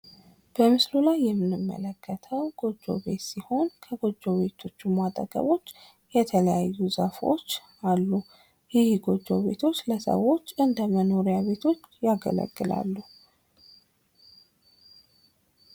በምስሉ ላይ የምንመለከተው ጎጆ ቤት ሲሆን ከጎጆ ቤቶቹም አጠገብ የተለያዩ ዛፎች አሉ። እነዚህ ጎጆ ቤቶችም ለተለያዩ ሰዎች መኖሪያነት ያገለግላሉ።